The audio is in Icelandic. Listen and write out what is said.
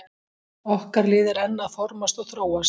Okkar lið er enn að formast og þróast.